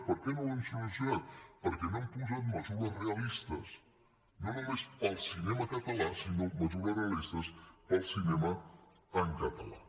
per què no l’hem solucionat perquè no hem posat mesures realistes no només per al cinema català sinó mesures realistes per al cinema en català